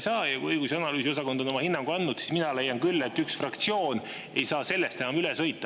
Kui õigus‑ ja analüüsiosakond on andnud oma hinnangu, siis mina leian küll, et üks fraktsioon ei saa sellest enam üle sõita.